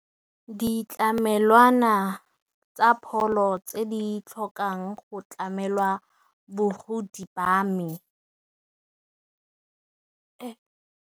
Ditlamelwana tsa pholo tse di tlhokang go tlamelwa bogodi ba me.